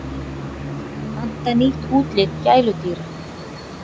Panta nýtt útlit gæludýra